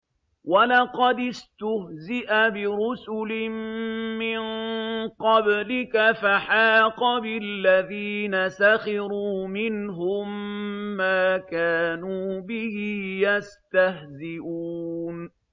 وَلَقَدِ اسْتُهْزِئَ بِرُسُلٍ مِّن قَبْلِكَ فَحَاقَ بِالَّذِينَ سَخِرُوا مِنْهُم مَّا كَانُوا بِهِ يَسْتَهْزِئُونَ